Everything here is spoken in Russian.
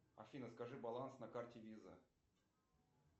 афина скажи баланс на карте виза